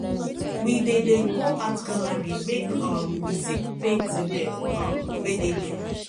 we dey dey go art gallery make um we see painting dem um wey dey there